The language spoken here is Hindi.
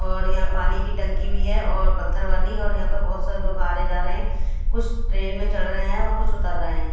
और यहां पानी की टंकी भी है और पत्थर वाली और यहां पे बहोत सारे लोग आ रहे जा रहे हैं कुछ ट्रेन में चड रहे हैं और कुछ उतर रहे हैं।